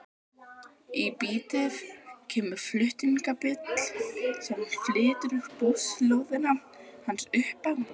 Í bítið kemur flutningabíll sem flytur búslóðina hans upp á